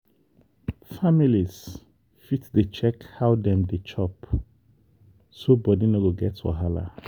families fit dey check how dem dey chop so body no go get wahala.